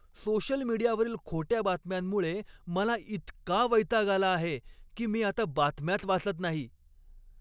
Social मीडियावरील खोट्या बातम्यांमुळे मला इतका वैताग आला आहे की मी आता बातम्याच वाचत नाही.